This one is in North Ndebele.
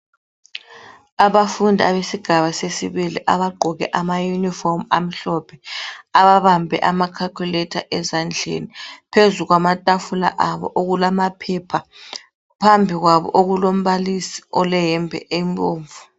Abafundi abesigaba sesibili abagqoke ama uniform amhlophe ababambe ama calculator ezandleni phezu kwamatafula abo okulamaphepha phambi kwabo okulombalisi oleyembe embomvu